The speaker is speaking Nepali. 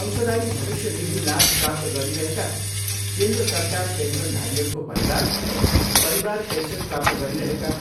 अंशदायी भविष्य निधि लाभ प्राप्त गरिरहेका केन्द्र सरकार पेन्सनधारीहरूको परिवार, परिवार पेन्सन प्राप्त गरिरहेका